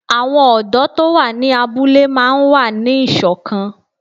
Àwọn ọ̀dọ́ tó wà ní abúlé máa n wà ní ìṣọ̀kan